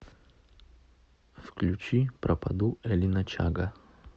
включи пропаду элина чага